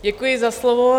Děkuji za slovo.